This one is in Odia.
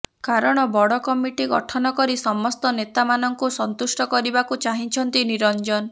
କାରଣ ବଡ କମିଟି ଗଠନ କରି ସମସ୍ତ ନେତା ମାନଙ୍କୁ ସନ୍ତୁଷ୍ଟ କରିବାକୁ ଚାହିଁଛନ୍ତି ନିରଞ୍ଜନ